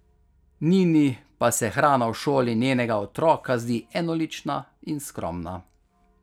Nini pa se hrana v šoli njenega otroka zdi enolična in skromna.